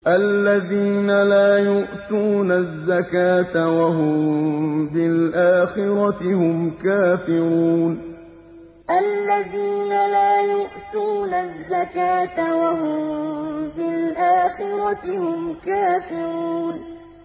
الَّذِينَ لَا يُؤْتُونَ الزَّكَاةَ وَهُم بِالْآخِرَةِ هُمْ كَافِرُونَ الَّذِينَ لَا يُؤْتُونَ الزَّكَاةَ وَهُم بِالْآخِرَةِ هُمْ كَافِرُونَ